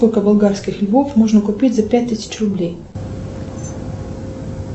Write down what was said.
сколько болгарских львов можно купить за пять тысяч рублей